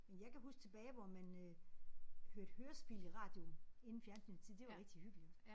Men jeg kan huske tilbage hvor man øh hørte hørespil i radioen inden fjernsynstid det var rigtig hyggeligt